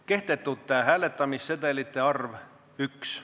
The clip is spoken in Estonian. Kehtetute hääletamissedelite arv – 1.